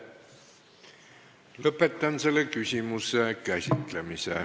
Lõpetan selle küsimuse käsitlemise.